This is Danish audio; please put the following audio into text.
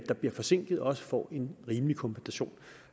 der bliver forsinket også får en rimelig kompensation